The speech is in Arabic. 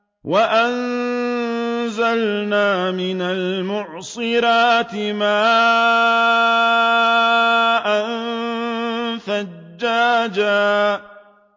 وَأَنزَلْنَا مِنَ الْمُعْصِرَاتِ مَاءً ثَجَّاجًا